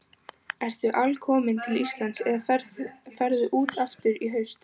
Ertu alkominn til Íslands eða ferðu út aftur í haust?